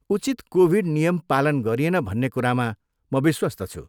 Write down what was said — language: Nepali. उचित कोभिड नियम पालन गरिएन भन्ने कुरामा म विश्वस्त छु।